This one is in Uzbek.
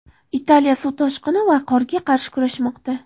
Italiya suv toshqini va qorga qarshi kurashmoqda.